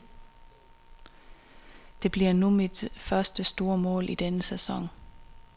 Det bliver nu mit første store mål i denne sæson.